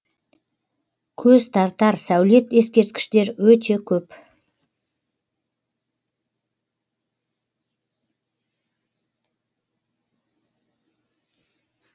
көз тартар сәулет ескерткіштер өте көп